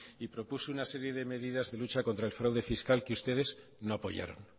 y propuso una serie de medidas de lucha contra el fraude fiscal que ustedes no apoyaron